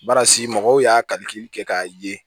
Barasi mɔgɔw y'a kalifili kɛ k'a ye